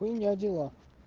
вы у меня дела